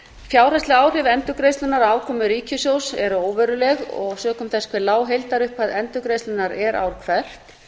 fjárhagsleg áhrif endurgreiðslunnar á afkomu ríkissjóðs eru óveruleg og sökum þess hve lág heildarupphæð endurgreiðslunnar er ár hvert